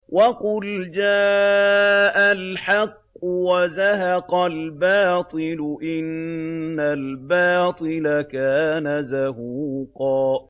وَقُلْ جَاءَ الْحَقُّ وَزَهَقَ الْبَاطِلُ ۚ إِنَّ الْبَاطِلَ كَانَ زَهُوقًا